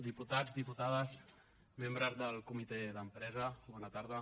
diputats diputades membres del comitè d’empresa bona tarda